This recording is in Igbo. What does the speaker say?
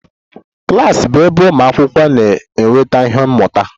Klas bụ ebe ụmụ akwụkwọ na-enweta ihe mmụta